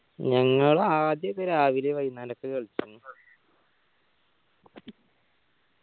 ഞങ്ങൾ ആദ്യോക്കെ രാവിലെ വൈകുന്നേരൊക്കെ കളിക്കലിണ്ട്‌